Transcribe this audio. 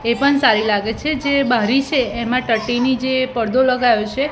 એ પણ સારી લાગે છે જે બારી છે એમાં ટટીની જે પરદો લગાયો છે.